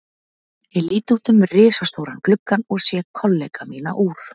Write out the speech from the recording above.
Ég lít út um risastóran gluggann og sé kollega mína úr